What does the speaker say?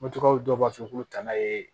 Moto dɔw b'a fɔ ko tana ye